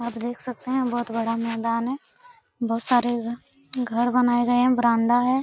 आप देख सकते हैं बहुत बड़ा मैदान है। बहुत सारे इधर घर बनाए गए हैं बरामद है।